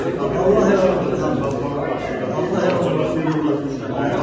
Allah hər şeyi də o adamın bəxtinə yazsın ki, Allah hər şeyi də o adamın bəxtinə yazsın.